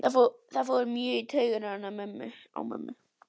Það fór mjög í taugarnar á mömmu.